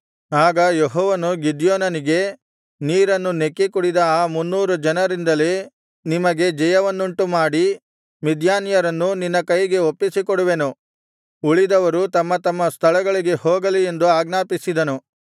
ಆಗ ಯೆಹೋವನು ಗಿದ್ಯೋನನಿಗೆ ನೀರನ್ನು ನೆಕ್ಕಿಕುಡಿದ ಆ ಮುನ್ನೂರು ಜನರಿಂದಲೇ ನಿಮಗೆ ಜಯವನ್ನುಂಟುಮಾಡಿ ಮಿದ್ಯಾನ್ಯರನ್ನು ನಿನ್ನ ಕೈಗೆ ಒಪ್ಪಿಸಿಕೊಡುವೆನು ಉಳಿದವರು ತಮ್ಮ ತಮ್ಮ ಸ್ಥಳಗಳಿಗೆ ಹೋಗಲಿ ಎಂದು ಆಜ್ಞಾಪಿಸಿದನು